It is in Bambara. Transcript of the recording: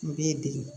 U b'i dege